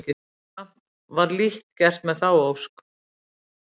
Samt var lítt gert með þá ósk.